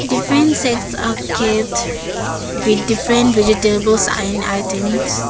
different sets are kept with different vegetables and items.